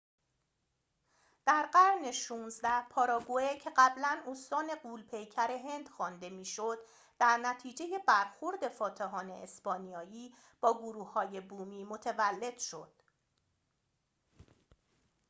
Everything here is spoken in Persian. در قرن ۱۶ پاراگوئه که قبلاً استان غول پیکر هند خوانده می شد در نتیجه برخورد فاتحان اسپانیایی با گروه های بومی متولد شد